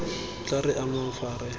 tla re amang fa re